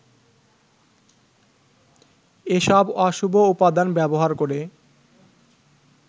এসব অশুভ উপাদান ব্যবহার করে